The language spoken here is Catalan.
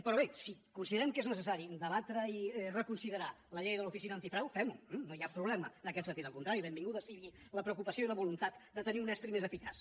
però bé si consideren que és necessari debatre i reconsiderar la llei de l’oficina antifrau fem ho eh no hi ha problema en aquest sentit al contrari benvinguda sigui la preocupació i la voluntat de tenir un estri més eficaç